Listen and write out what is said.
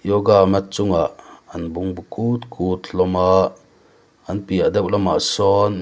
yoga mat chungah an bungbu kut kut hlawm a an piah deuh lamah sawn mi--